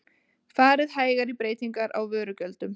Farið hægar í breytingar á vörugjöldum